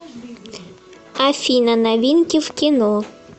афина новинки в кино